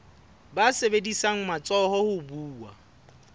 ba sebedisang matsoho ho buwa